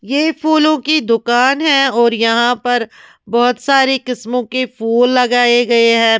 ये फूलों की दुकान है और यहाँ पर बहुत सारे किस्मों के फूल लगाए गए हैं।